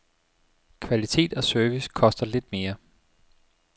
Kvalitet og service koster lidt mere.